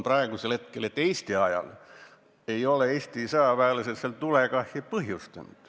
Eesti ajal ei ole Eesti sõjaväelased seal tulekahju põhjustanud.